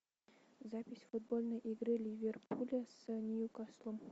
запись футбольной игры ливерпуля с ньюкаслом